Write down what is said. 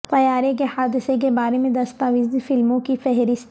طیارے کے حادثے کے بارے میں دستاویزی فلموں کی فہرست